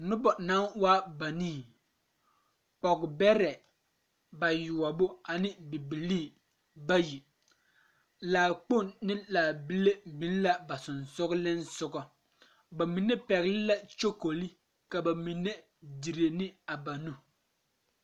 Noba naŋ waa banii pɔge bɛrɛ bayoɔbo ane bibilee bayi laakpoŋ ne laabile biŋ la ba sɔgsɔgliŋsɔgɔ ba mine pɛgle la ne kyakole ka ba mine dire ne na nu.